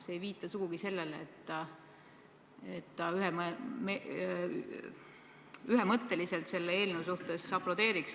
See ei viita kuidagi sellele, et ta selle eelnõu peale ühemõtteliselt aplodeeriks.